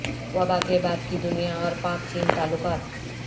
وبا کے بعد کی دنیا اور پاک چین تعلقات